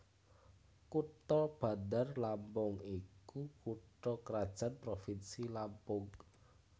Kutha Bandar Lampung iku kutha krajan provinsi Lampung